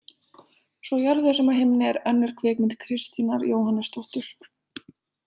Svo á jörðu sem á himni er önnur kvikmynd Kristínar Jóhannesdóttur.